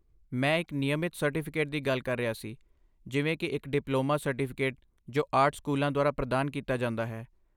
ਮੈਂ ਇੱਕ ਨਿਯਮਤ ਸਰਟੀਫਿਕੇਟ ਦੀ ਗੱਲ ਕਰ ਰਿਹਾ ਸੀ, ਜਿਵੇਂ ਕਿ ਇੱਕ ਡਿਪਲੋਮਾ ਸਰਟੀਫਿਕੇਟ ਜੋ ਆਰਟ ਸਕੂਲਾਂ ਦੁਆਰਾ ਪ੍ਰਦਾਨ ਕੀਤਾ ਜਾਂਦਾ ਹੈ।